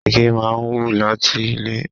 Igi máa ń wù láti ilé.